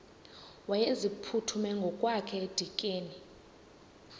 wayeziphuthume ngokwakhe edikeni